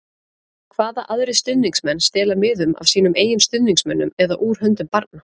Hvaða aðrir stuðningsmenn stela miðum af sínum eigin stuðningsmönnum eða úr höndum barna?